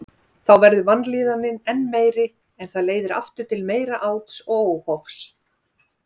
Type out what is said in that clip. Þá verður vanlíðanin enn meiri en það leiðir aftur til meira áts og óhófs.